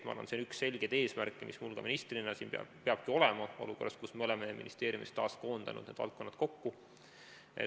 Ma arvan, et see on üks selgeid eesmärke, mis mul ka ministrina peab olema, olukorras, kus me oleme ministeeriumis taas need valdkonnad kokku koondanud.